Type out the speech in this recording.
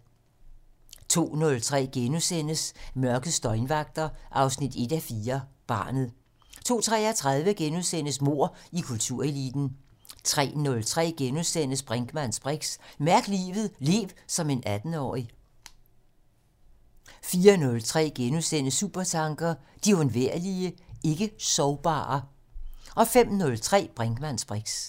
02:03: Mørkets døgnvagter 1:4 - Barnet * 02:33: Mord i kultureliten * 03:03: Brinkmanns briks: Mærk livet - lev som en 18-årig! * 04:03: Supertanker: De undværlige, ikke-sorgbare * 05:03: Brinkmanns briks